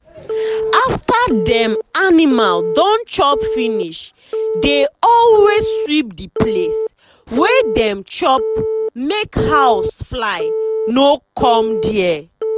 after dem animal don chop finishi dey always sweep the place wey dem chop make house fly no come there.